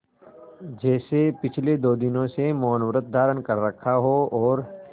जैसे पिछले दो दिनों से मौनव्रत धारण कर रखा हो और